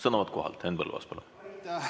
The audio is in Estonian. Sõnavõtt kohalt, Henn Põlluaas, palun!